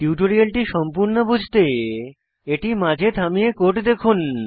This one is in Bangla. টিউটোরিয়ালটি সম্পূর্ণ বুঝতে এটি মাঝে থামিয়ে কোড দেখুন